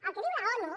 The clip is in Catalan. el que diu l’onu